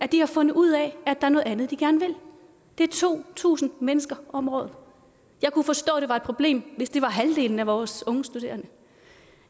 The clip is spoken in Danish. de har fundet ud af at der er noget andet de gerne vil det er to tusind mennesker om året jeg kunne forstå at det var et problem hvis det var halvdelen af vores unge studerende